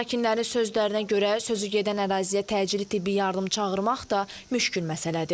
Sakinlərin sözlərinə görə, sözügedən əraziyə təcili tibbi yardım çağırmaq da müşkül məsələdir.